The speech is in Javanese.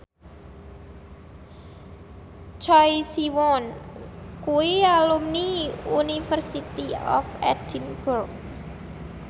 Choi Siwon kuwi alumni University of Edinburgh